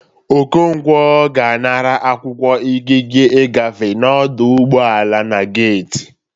Okonkwọ ga-anara akwụkwọ ikike igafe n'ọdụ ụgbọ ala na geiti